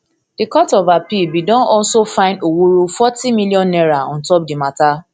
di court of appeal bin don also fine owuru forty million naira on top di mata